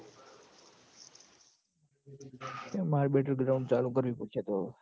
એ માર battle ground ચાલુ કરવી પડશે તો અવ